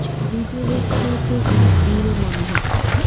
ছবিতে দেখে এটি একটি বিল মনে হচ্ছে.